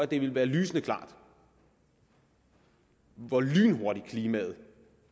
det ville være lysende klart hvor lynhurtigt klimaet